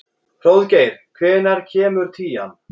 Hróðgeir, hvenær kemur tían?